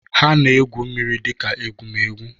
Ha na-egwu mmiri dika egwumegwu.